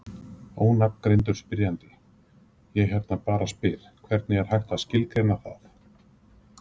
Ónafngreindur spyrjandi: Ég hérna bara spyr: Hvernig er hægt að skilgreina það?